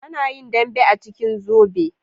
Ana yin dambe a cikin zobe